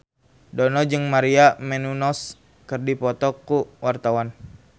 Dono jeung Maria Menounos keur dipoto ku wartawan